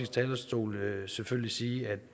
talerstol selvfølgelig sige